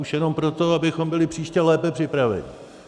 Už jenom proto, abychom byli příště lépe připraveni.